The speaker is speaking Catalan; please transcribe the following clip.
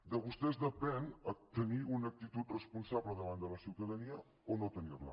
de vostès depèn tenir una actitud responsable davant de la ciutadania o no tenir la